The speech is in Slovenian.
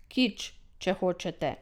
Kič, če hočete.